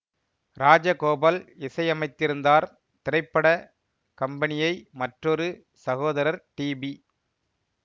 ராஜகோபால் இசையமைத்திருந்தார் திரைப்பட கம்பனியை மற்றொரு சகோதரர் டி பி